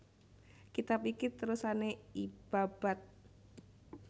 Kitab iki terusané I Babad